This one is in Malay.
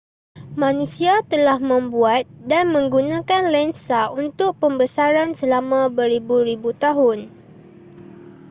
manusia telah membuat dan menggunakan lensa untuk pembesaran selama beribu-ribu tahun